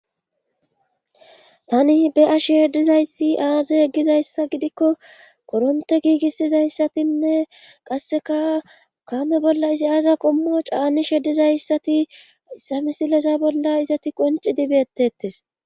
Tani be ashishe dizayssi aaze eggizayssa gidikko koronte giigissizayssatinne qasseka kaame bolla izi aaza qommo caanishe dizayssati issamisilesa bolla izati qonci dibeettettes.